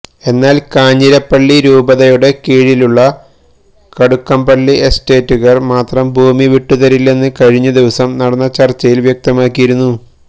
എന്നാല് കാഞ്ഞിരപ്പള്ളി രൂപതയുടെ കീഴിലുള്ള കടുക്കപള്ളി എസ്റ്റേറ്റുകാര് മാത്രം ഭൂമി വിട്ടുതരില്ലെന്ന് കഴിഞ്ഞദിവസം നടന്ന ചര്ച്ചയില് വ്യക്തമാക്കിയിരുന്നു